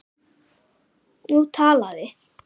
Nú talaði